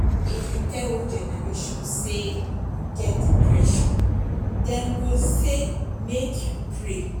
if you tell old generation sey you get depression dem go sey make you pray